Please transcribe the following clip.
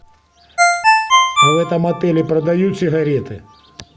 а в этом отеле продают сигареты